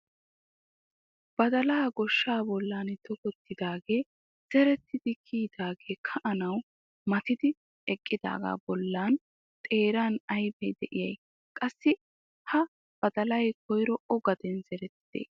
Badalaa gooshshaa bolli tokkidoogee zeretti kiyidagee ka"anawu matidi eqqidaagaa badalaa xeeran aybee de'iyay? qassi ha badalay koyro o gaden zerettidee?